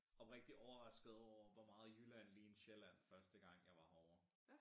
Oprigtig overrasket over hvor meget Jylland lignede Sjælland første gang jeg var herovre